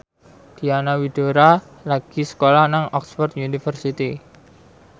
Diana Widoera lagi sekolah nang Oxford university